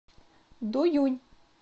дуюнь